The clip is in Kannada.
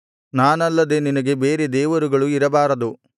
ನಾನಲ್ಲದೆ ನಿನಗೆ ಬೇರೆ ದೇವರುಗಳು ಇರಬಾರದು